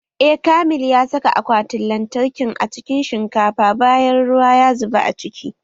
Eh, Kamil ya saka akwatin lantarkin a cikin shinkafa bayan ruwa ya zuba a ciki